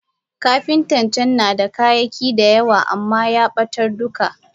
Kapinta can nada kayaki da yawa amma yabatar duka.